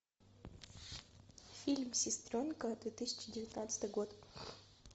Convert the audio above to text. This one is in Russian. фильм сестренка две тысячи девятнадцатый год